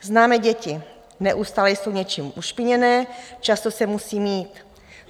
Známe děti: neustále jsou něčím ušpiněné, často se musí mýt.